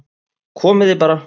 Komið þið bara